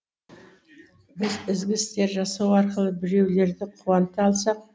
біз ізгі істер жасау арқылы біреулерді қуанта алсақ